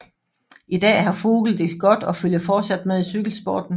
I dag har Vogel det godt og følger fortsat med i cykelsporten